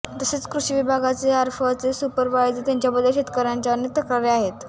तसेच कृषिविभागाचे आरफळचे सुपरवायझर यांच्याबद्दल शेतकर्यांच्या अनेक तक्रारी आहेत